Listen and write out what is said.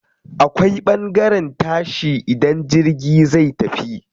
Akwai ɓangaren tashi idan jirgi zai tafi.